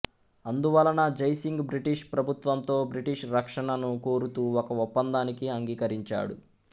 అందువలన జైసింగ్ బ్రిటిష్ ప్రభుత్వంతో బ్రిటిష్ రక్షణను కోరుతూ ఒక ఒప్పందానికి అంగీకరించాడు